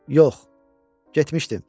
Yox, getmişdim.